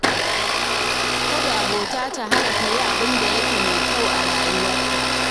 Kada abota ta hana ka yin abin da yake mai kyau ne a rayuwa.